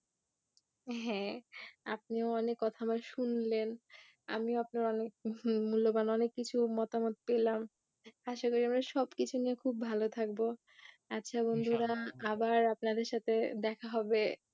হ্যাঁ আপনিও অনেক কথা আমার শুনলেন আমিও আপনার মূল্যবান অনেক কিছু মতামত পেলাম, আশা করি আমরা সব কিছু নিয়ে খুব ভালো থাকবো আচ্ছা বন্ধুরা আবার আপনাদের সাথে দেখা হবে